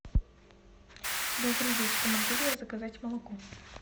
добрый вечер могу ли я заказать молоко